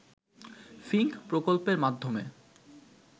Fincke প্রকল্পের মাধ্যমে